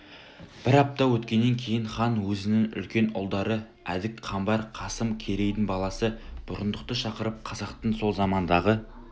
бір апта өткеннен кейін хан өзінің үлкен ұлдары әдік қамбар қасым керейдің баласы бұрындықты шақырып қазақтың сол замандағы